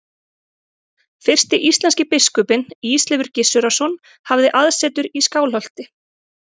Fyrsti íslenski biskupinn, Ísleifur Gissurarson, hafði aðsetur í Skálholti.